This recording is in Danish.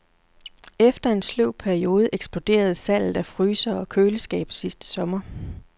Efter en sløv periode eksploderede salget af frysere og køleskabe sidste sommer.